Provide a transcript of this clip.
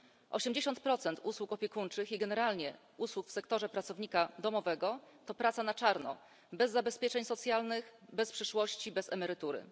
80 usług opiekuńczych i generalnie usług w sektorze pracownika domowego to praca na czarno bez zabezpieczeń socjalnych, bez przyszłości, bez emerytury.